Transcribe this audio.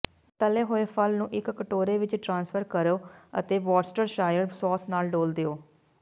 ਤਲੇ ਹੋਏ ਫਲ ਨੂੰ ਇੱਕ ਕਟੋਰੇ ਵਿੱਚ ਟ੍ਰਾਂਸਫਰ ਕਰੋ ਅਤੇ ਵੌਰਸਟਰਸ਼ਾਇਰ ਸੌਸ ਨਾਲ ਡੋਲ੍ਹ ਦਿਓ